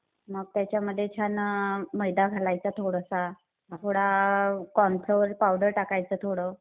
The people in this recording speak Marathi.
मग त्याच्यामध्ये छान मैदा घालायचा थोडासा. थोडा कॉर्न फ्लोअर पावडर टाकायचं थोडं.